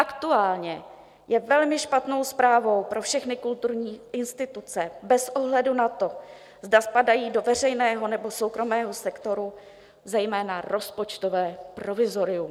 Aktuálně je velmi špatnou zprávou pro všechny kulturní instituce bez ohledu na to, zda spadají do veřejného, nebo soukromého sektoru, zejména rozpočtové provizorium.